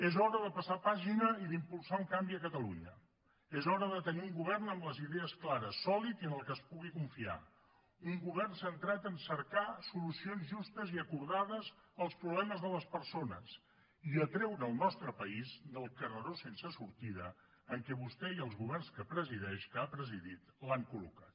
és hora de passar pàgina i d’impulsar un canvi a catalunya és hora de tenir un govern amb les idees clares sòlid i en el qual es pugui confiar un govern centrat en cercar solucions justes i acordades als problemes de les persones i a treure el nostre país del carreró sense sortida en què vostè i els governs que presideix que ha presidit l’han col·locat